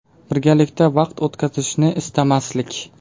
Birgalikda vaqt o‘tkazishni istamaslik .